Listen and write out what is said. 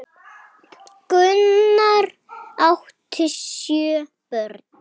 Gunnar átti sjö börn.